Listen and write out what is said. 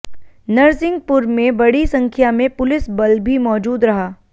नरसिंहपुर में बड़ी संख्या में पुलिस बल भी मौजूद रहा